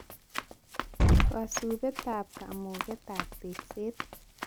Kasubetab kamugetab tekset